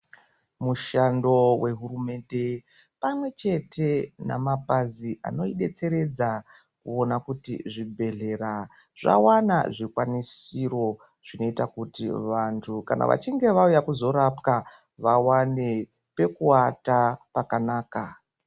Mushando we hurumende pamwe chete na mapazi ano detseredza kuona kuti zvibhedhlera zvawana zvikwanisiro zvinoita kuti vantu kana vachinge vauya kuzo rapwa vawane peku ata pakanaka.